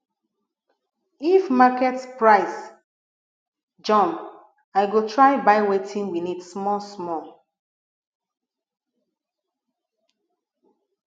if market price jump i go try buy wetin we need smallsmall